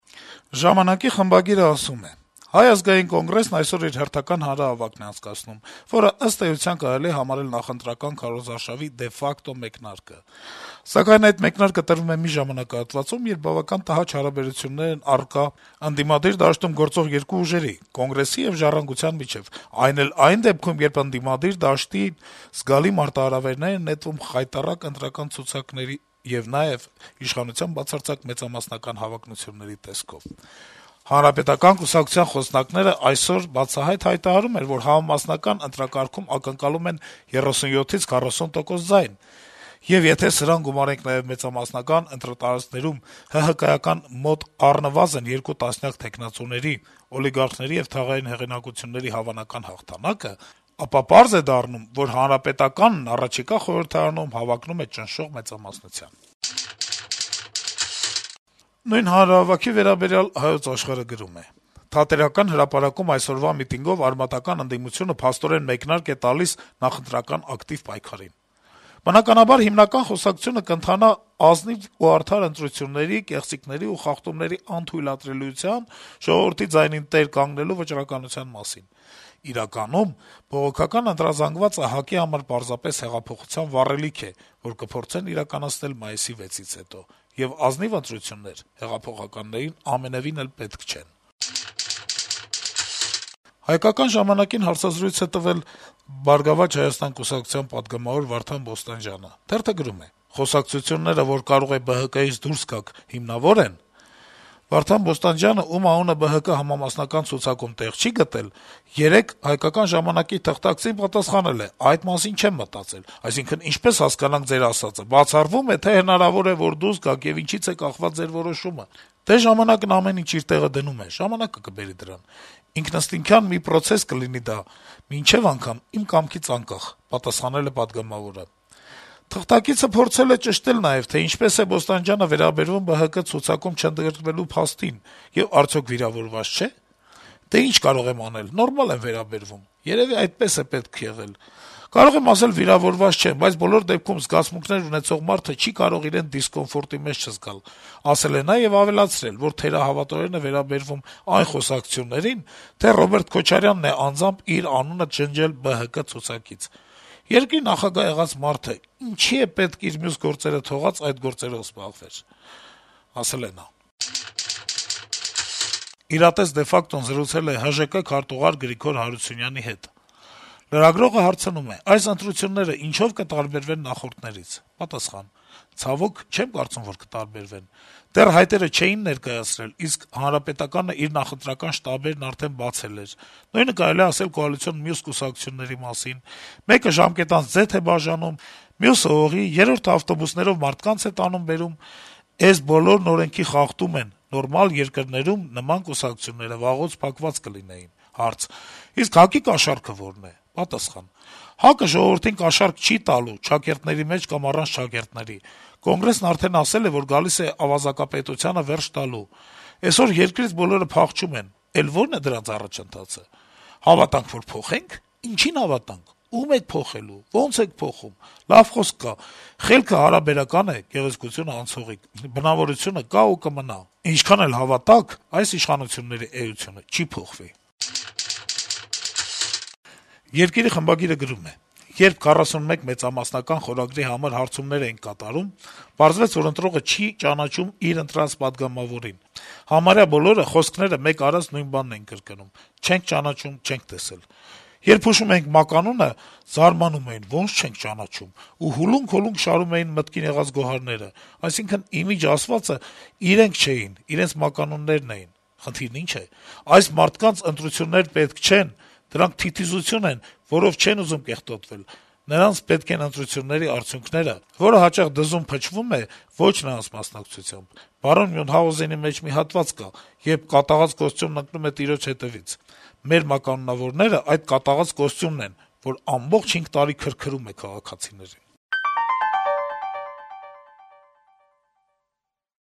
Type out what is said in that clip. «Ժամանակ»-ի խմբագիրը ասում է․ - «Հայ ազգային կոնգրեսն այսօր իր հերթական հանրահավաքն է անցկացնում, որը ըստ էության կարելի է համարել նախընտրական քարոզարշավի դե ֆակտո մեկնարկը: Սակայն այդ մեկնարկը տրվում է մի ժամանակահատվածում, երբ բավական տհաճ հարաբերություններ են առկա ընդդիմադիր դաշտում գործող երկու ուժերի՝ Կոնգրեսի եւ Ժառանգության միջեւ, այն էլ այն դեպքում, երբ ընդդիմադիր դաշտին զգալի մարտահրավերներ են նետվում խայտառակ ընտրական ցուցակների եւ նաեւ իշխանության բացարձակ մեծամասնական հավակնությունների տեսքով: Հանրապետական կուսակցության խոսնակները այսօր բացահայտ հայտարարում են, որ համամասնական ընտրակարգում ակնկալում են 37-40 տոկոս ձայն, եւ եթե սրան գումարենք նաեւ մեծամասնական ընտրատարածքներում ՀՀԿ-ական մոտ առնվազն երկու տասնյակ թեկնածուների՝ օլիգարխների եւ թաղային հեղինակությունների հավանական հաղթանակը, ապա պարզ է դառնում, որ Հանրապետականն առաջիկա խորհրդարանում հավակնում է ճնշող մեծամասնության»։ Նույն հանրահավաքի վերաբերյալ «Հայոց աշխարհ»-ը գրում է․ - «Թատերական հրապարակում այսօրվա միտինգով արմատական ընդդիմությունը փաստորեն մեկնարկ է տալիս նախընտրական ակտիվ պայքարին։ Բնականաբար հիմնական խոսակցությունը կընթանա ազնիվ ու արդար ընտրությունների, կեղծիքների ու խախտումների անթույլատրելիության, «ժողովրդի ձայնին տեր կանգնելու» վճռականության մասին։ Իրականում բողոքական ընտրազանգվածը ՀԱԿ-ի համար պարզապես հեղափոխության վառելիք է, որ կփորձեն իրականացնել մայիսի 6-ից հետո։ Եվ ազնիվ ընտրություններ հեղափոխականներին ամենեւին էլ պետք չեն»։ «Հայկական ժամանակ»-ին հարցազրույց է տվել «Բարգավաճ Հայաստան» կուսակցության պատգամավոր Վարդան Բոստանջյանը։ Թերթը գրում է․ - «Խոսակցությունները, որ կարող է ԲՀԿ-ից դուրս գաք, հիմնավո՞ր են․ ԱԺ ԲՀԿ խմբակցության պատգամավոր Վարդան Բոստանջյանը, ում անունը ԲՀԿ համամասնական ցուցակում տեղ չի գտել, երեկ մեր այս հարցին պատասխանել է․ «Այդ մասին չեմ մտածել»։ Այսինքն, ինչպե՞ս հասկանանք ձեր ասածը, բացառվո՞ւմ է, թե հնարավոր է, որ դուրս գաք, եւ ինչի՞ց է կախված ձեր որոշումը․ «Դե, ժամանակն ամեն ինչ իր տեղը դնում է, ժամանակը կբերի դրան։ Ինքնըստինքյան մի պրոցես կլինի դա, մինչեւ անգամ, իմ կամքից անկախ», - պատասխանել է պատգամավորը։ Մեր թղթակիցը փորձել է ճշտել նաեւ, թե ինչպես է Բոստանջյանը վերաբերվում ԲՀԿ ցուցակում չընդգրկվելու փաստին եւ արդյո՞ք վիրավորված չէ։ «Դե, ի՞նչ կարող եմ անել, նորմալ եմ վերաբերվում, երեւի այդպես է պետք եղել։ Կարող եմ ասել՝ վիրավորված չեմ, բայց բոլոր դեպքերում զգացմունքներ ունեցող մարդը չի կարող իրեն դիսկոմֆորտի մեջ չզգալ», - ասել է նաեւ եւ ավելացրել, որ թերահավատորեն է վերաբերվում այն խոսակցություններին, թե Ռոբերտ Քոչարյանն անձամբ է իր անունը ջնջել ԲՀԿ ցուցակից։ Երկրի նախագահ եղած մարդը ինչի՞ պետք է իր մյուս գործերը թողած՝ այդ գործերով զբաղվեր»։ «Իրատես de facto»-ն զրուցել է ՀԺԿ քարտուղար Գրիգոր Հարությունյանի հետ։ Լրագրողը հարցնում է․ - «Այս ընտրություններն ինչո՞վ կտարբերվեն նախորդներից»: Պատասխան․ - «Ցավոք, չեմ կարծում, որ կտարբերվեն: Դեռ հայտերը չէին ներկայացրել, իսկ ՀՀԿ-ն իր նախընտրական շտաբներն արդեն բացել էր: Նույնը կարելի է ասել կոալիցիոն մյուս կուսակցությունների մասին: Մեկը ժամկետանց ձեթ է բաժանում, մյուսը՝ օղի, երրորդը՝ ավտոբուսներով մարդկանց է տանում-բերում: Էս բոլորն օրենքի խախտում են: Նորմալ երկրներում նման կուսակցությունները վաղուց փակված կլինեին»։ Հարց․ - «ՀԱԿ-ի «կաշառքը» ո՞րն է»: Պատասխան․ - «ՀԱԿ-ը ժողովրդին կաշառք չի տալու՝ չակերտների մեջ կամ առանց չակերտների: Կոնգրեսն արդեն ասել է, որ գալիս է ավազակապետությանը վերջ տալու: Էսօր երկրից բոլորը փախչում են, էլ ո՞րն է դրանց առաջընթացը: «Հավատանք, որ փոխե՞նք»: Ինչի՞ն հավատանք, ո՞ւմ եք փոխում, ո՞նց եք փոխում: Լավ խոսք կա` խելքը հարաբերական է, գեղեցկությունը` անցողիկ: Բնավորությունը կա ու կմնա, ինչքան էլ հավատաք, այս իշխանությունների էությունը չի փոխվի»: «Երկիր»-ի խմբագիրը գրում է․ - «Երբ «41 մեծամասնական» խորագրի համար հարցումներ էինք կատարում, պարզվեց, որ ընտրողը չի ճանաչում իր «ընտրած» պատգամավորին: Համարյա բոլորը խոսքները մեկ արած նույն բանն էին կրկնում` «Չենք ճանաչում, չենք տեսել»: Երբ հուշում էինք մականունը, զարմանում էին. «Ո՜նց չենք ճանաչում» ու ուլունք-ուլունք շարում էին մտքին եկած գոհարները: Այսինքն` իմիջ ասվածը իրենք չեն, իրենց մականուններն են: Խնդիրն ի՞նչն է: Այս մարդկանց ընտրություններ պետք չեն, դրանք թիթիզություն են, որով չեն ուզում «կեղտոտվել»: Նրանց պետք են ընտրությունների արդյունքները, որը հաճախ «դզում-փչվում» է ոչ նրանց մասնակցությամբ: Բարոն Մյունհաուզենի մեջ մի հատված կա, երբ կատաղած մուշտակն ընկնում է տիրոջ հետեւից: Մեր մականունավորներն այդ կատաղած մուշտակն են, որն ամբողջ հինգ տարի քրքրում է քաղաքացիներին»։